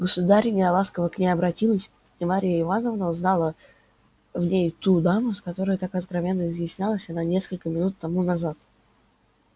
государыня ласково к ней обратилась и марья ивановна узнала в ней ту даму с которой так откровенно изъяснялась она несколько минут тому назад